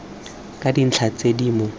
ka dintlha tse di mo